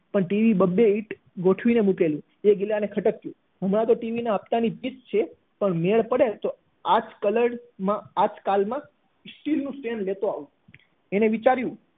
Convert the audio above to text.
પણ ટીવી બબ્બે ઈંટ ગોઠવીને મૂકેલી એ ગિલા ને ખટક્યું હમણાં તો ટીવી ના હફ્તા ની ફીટ છે પણ મેળ પડે તો આજ colour માં આજકાલ માં ઈ સ્ટીલ નું સ્ટેન્ડ લેતો આવું એને વિચાર્યું